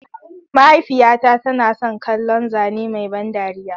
Mahaifiyata tana son kallon zane mai ban dariya.